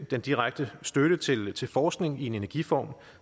den direkte støtte til til forskning i en energiform